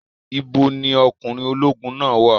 Ibo ni ọkùnrin ológun náà wà?